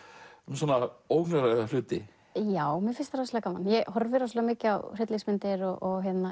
svona óhugnarlega hluti já mér finnst það rosalega gaman ég horfi rosalega mikið á hryllingsmyndir og